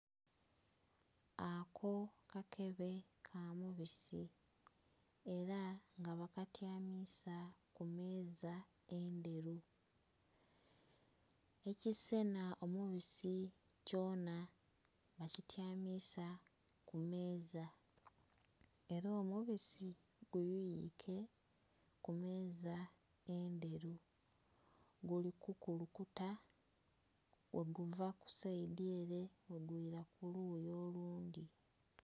Aako kakebe kamubiisi, ela nga bakatyamiza ku meeza endheru, ekiseenha omubisi kyonha bakityamiza ku meeza, ela omubisi guyuyike ku meeza endheru, guli kukulukuta bweguva kusaidi ele bwegwila ku luyi olundhi.